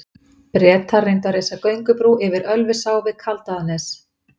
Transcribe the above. Bretar reyndu að reisa göngubrú yfir Ölfusá við Kaldaðarnes.